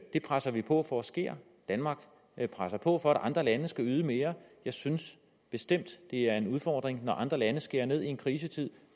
det presser vi på for sker danmark presser på for at andre lande skal yde mere jeg synes bestemt det er en udfordring når andre lande skærer ned i en krisetid